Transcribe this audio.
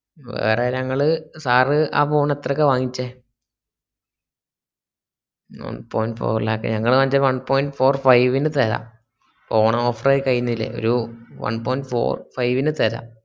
വേറേ ഞാങ്ങള് sir ആ phone എത്രക്കാ വാങ്ങിച്ചേ വാങ്ങിച്ച തെരാ ഓണം offer കായ്ഞ്ഞിലെ ന് തെരാ